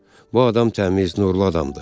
Bu adam təmiz, nurlu adamdır.